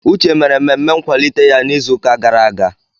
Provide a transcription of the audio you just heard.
Uche mere mmemme nkwalite ya n'izuụka gara aga.